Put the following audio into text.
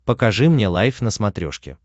покажи мне лайф на смотрешке